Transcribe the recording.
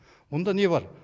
мұнда не бар